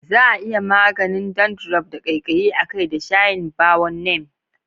Za a iya maganin dandruff da ƙaiƙayi a kai da shayin bawon neem.